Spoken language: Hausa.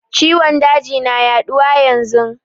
Ciwon daji na yaduwa yanzun.